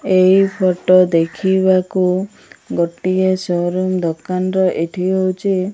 ଏଇ ଫୋଟ ଦେଖିବାକୁ ଗୋଟିଏ ସୋ-ରୁମ ଦୋକାନର ଏଠି ହଉଛି --